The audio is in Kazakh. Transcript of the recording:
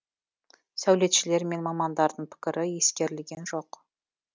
сәулетшілер мен мамандардың пікірі ескерілген жоқ